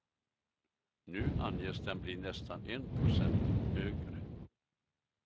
Nu anges den bli nästan en procent högre.